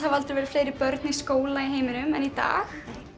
aldrei verið fleiri börn í skóla í heiminum en í dag